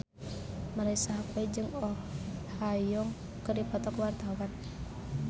Marisa Haque jeung Oh Ha Young keur dipoto ku wartawan